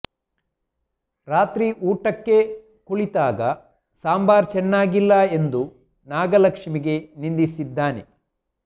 ರಾತ್ರಿ ಊಟಕ್ಕೆ ಕುಳಿತಿದ್ದಾಗ ಸಾಂಬಾರ್ ಚೆನ್ನಾಗಿಲ್ಲ ಎಂದು ನಾಗಲಕ್ಷ್ಮಿಗೆ ನಿಂದಿಸಿದ್ದಾನೆ